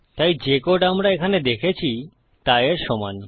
তাই যে কোড আমরা এখানে দেখেছি তা এর সমান